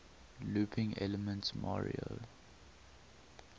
looping elements mario